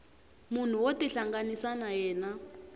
munhu wo tihlanganisa na yena